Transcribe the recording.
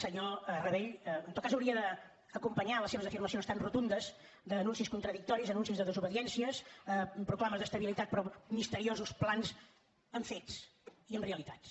senyor rabell en tot cas hauria d’acompanyar les seves afirmacions tan rotundes d’anuncis contradictoris anuncis de desobediències proclames d’estabilitat però misteriosos plans amb fets i amb realitats